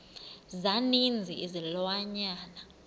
za ninzi izilwanyana